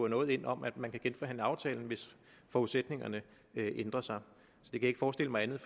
noget ind om at man kunne genforhandle aftalen hvis forudsætningerne ændrede sig jeg kan ikke forestille mig andet